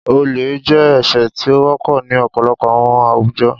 Ole jẹ ẹṣẹ ti o wọpọ ni ọpọlọpọ awọn awujọ.